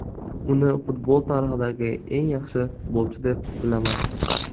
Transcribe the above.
Uni futbol tarixidagi eng yaxshi futbolchi deb bilaman.